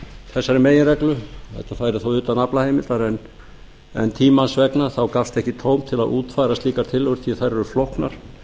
þessari meginreglu þetta færi þá utan aflaheimildar en tímans vegna gafst ekki tóm til að útfæra slíkar tillögur því þær eru flóknar